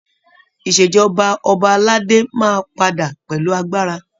Ìṣèjọba ọba aládé máa padà pẹ̀lú agbára.